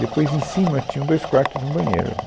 Depois, em cima, tinham dois quartos e um banheiro.